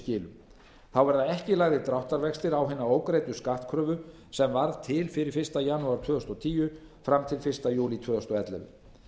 þá verða ekki lagðir dráttarvextir á hina ógreiddu skattkröfu sem varð til fyrir fyrsta janúar tvö þúsund og tíu fram til fyrsta júlí tvö þúsund og ellefu